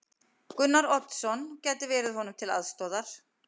Gunnar Oddsson gæti verið honum til aðstoðar.